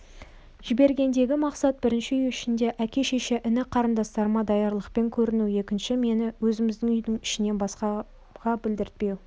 жібергендегі мақсат бірінші үй ішінде әке шеше іні қарындастарыма даярлықпен көріну екінші мені өзіміздің үйдің ішінен басқаға білдіртпеу